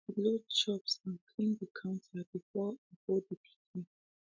i be load chops and clean de counter before i go de picnic